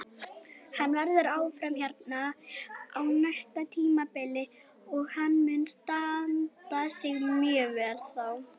Hann verður áfram hérna á næsta tímabili og hann mun standa sig mjög vel þá.